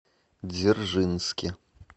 дзержинске